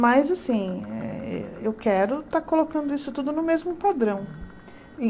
Mas, assim, eh eu quero estar colocando isso tudo no mesmo padrão.